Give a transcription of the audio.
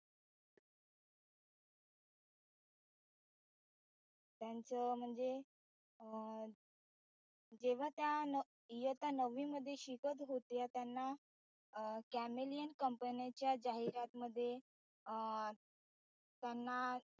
त्यांचं म्हणजे तेव्हा त्या इयत्ता नववी मध्ये शिकत होत्या त्याना अं camelian company च्या जाहिरात मध्ये अं त्यांना